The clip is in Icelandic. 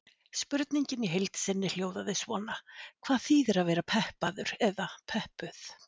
Spurningin í heild sinni hljóðaði svona: Hvað þýðir að vera peppaður eða peppuð?